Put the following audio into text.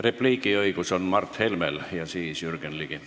Repliigiõigus on Mart Helmel ja siis Jürgen Ligi.